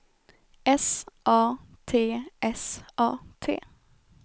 S A T S A T